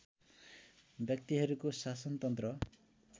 व्यक्तिहरूको शासनतन्त्र